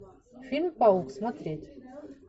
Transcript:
фильм паук смотреть